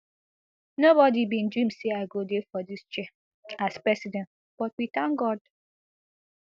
no body bin dream say i go dey for dis chair as president but we thank god